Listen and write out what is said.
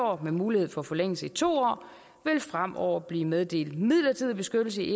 år med mulighed for forlængelse i to år vil fremover blive meddelt midlertidig beskyttelse i